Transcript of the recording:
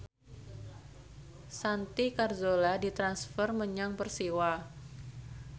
Santi Carzola ditransfer menyang Persiwa